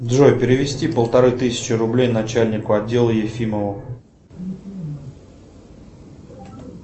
джой перевести полторы тысячи рублей начальнику отдела ефимову